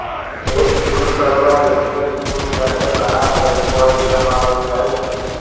એક દૂર કરવા યોગ્ય સ્પૂલ સાથે ઘણા જેમ કોઇલ સમાવેશ થાય છે